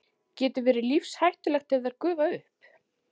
Getur verið lífshættulegt ef þær gufa upp.